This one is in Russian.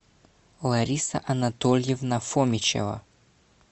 лариса анатольевна фомичева